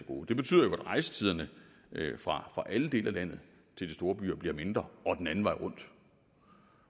det betyder jo at rejsetiderne fra alle dele af landet til de store byer bliver mindre og den anden vej rundt